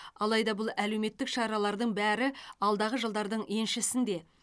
алайда бұл әлеуметтік шаралардың бәрі алдағы жылдардың еншісінде